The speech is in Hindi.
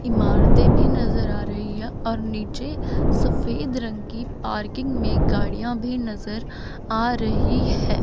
इमारतें भी नजर आ रही है और नीचे सफेद रंग की पार्किंग में गाड़ियां भी नजर आ रही है।